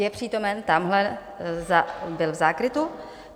Je přítomen - tamhle, byl v zákrytu.